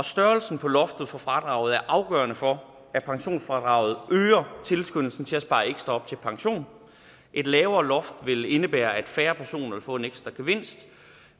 størrelsen på loftet for fradraget er afgørende for at pensionsfradraget øger tilskyndelsen til at spare ekstra op til pension et lavere loft vil indebære at færre personer vil få en ekstra gevinst